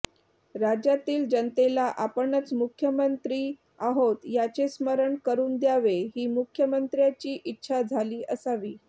राज्यातील जनतेला आपणच मुख्यंमत्री आहोत याचे स्मरण करून द्यावे ही मुख्यमंत्र्याची इच्छा झाली असावी